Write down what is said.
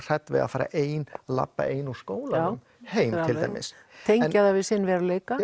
hrædd við að vera ein labba ein úr skólanum heim til dæmis tengja það við sinn veruleika